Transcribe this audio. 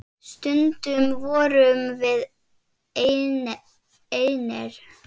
Stundum vorum við einir.